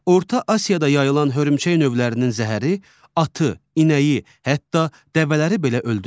Orta Asiyada yayılmış hörümçək növlərinin zəhəri atı, inəyi, hətta dəvələri belə öldürür.